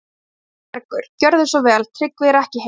ÞÓRBERGUR: Gjörðu svo vel, Tryggvi er ekki heima.